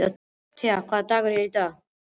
Tea, hvaða dagur er í dag?